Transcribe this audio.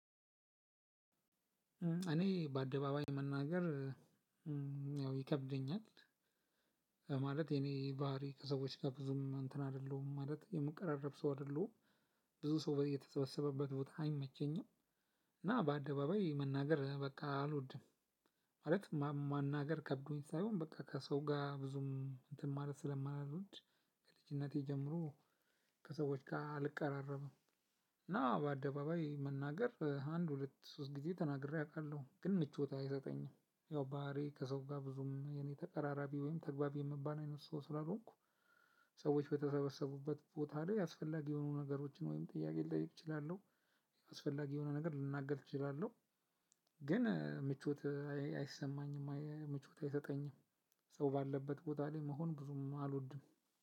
እኔ በአደባባይ መናገር ያው ይከብደኛል። የኔ ባህሪ ከሰዎች ጋር ብዙም እንትን አይደለሁም ማለት የምቀራረብ ሰው አይደለሁም። ብዙ ሰው በ እየተሰበሰበበት ቦታ አይመቸኝም። እና በአደባባይ መናገር በቃ አልወድም። ማለት ማናገር ከብዶኝ ሳይሆን በቃ ከሰው ጋር ብዙም እንትን ማለት ስለማልወድ ነው እንጂ ከልጅነቴ ጀምሮ ከሰዎች ጋር አልቀራረብም። እና በአደባባይ መናገር አንድ ሁለት ብዬ ተናግሬ አውቃለሁ። ግን ብዙም ምቾት አይሰጠኝም ያው ባህሪዬ ከሰው ጋር ብዙም ተቀራራቢ ተግባቢ የሚባል ሰው ስላልሆንኩ ሰዎች በተሰበሰቡበት ቦታ ላይ ያስፈላጊ የሆኑ ነገሮችን ወይም ጥያቄ ልጠይቅ እችላለሁ። አስፈላጊ የሆነ ነገር ልናገር እችላለሁ። ግን ምቾት አይሰማኝም ምቾት አይሰጠኝም። ሰው ባለበት ቦታ ላይ መሆን ብዙም አልወድም።